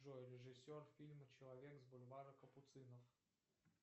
джой режиссер фильма человек с бульвара капуцинов